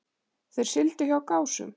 Þeir sigldu hjá Gásum.